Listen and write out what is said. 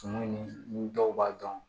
Tumu ni dɔw b'a dɔn